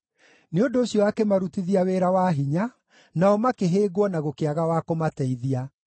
Nĩ ũndũ ũcio akĩmarutithia wĩra wa hinya; nao makĩhĩngwo na gũkĩaga wa kũmateithia.